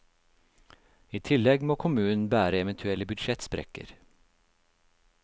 I tillegg må kommunen bære eventuelle budsjettsprekker.